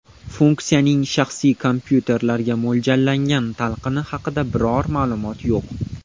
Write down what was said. Funksiyaning shaxsiy kompyuterlarga mo‘ljallangan talqini haqida biror ma’lumot yo‘q.